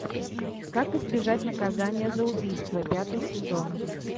как избежать наказания за убийство пятый сезон